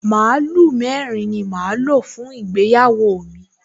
Màlúù mẹ́rin ni màá lò fún ìgbéyàwó mi